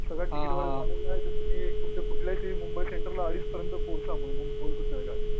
सकाळी तुम्ही कुठे कुठे मुंबई सेंटरपर्यंत पोहचू म्हणून